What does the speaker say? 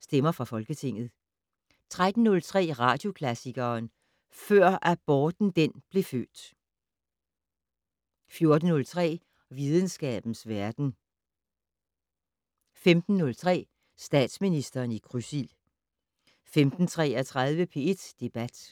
Stemmer fra Folketinget, fortsat 13:03: Radioklassikeren: Før aborten den blev født 14:03: Videnskabens verden 15:03: Statsministeren i krydsild 15:33: P1 Debat